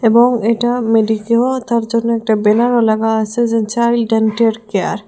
এবং এটা মেডিকেলও তার জন্য একটা ব্যানারও লাগা আসে যে চাইল্ড ডেন্টাল কেয়ার ।